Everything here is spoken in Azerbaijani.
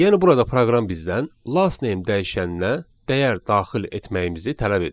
Yəni burada proqram bizdən last name dəyişəninə dəyər daxil etməyimizi tələb edir.